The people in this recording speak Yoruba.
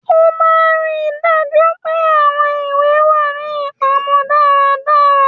Ó máà ri daju pe àwọn ìwé wá ní ipamó dàrá dàrá